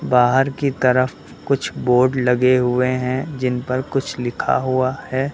बाहर की तरफ कुछ बोर्ड लगे हुए हैं जिन पर कुछ लिखा हुआ है।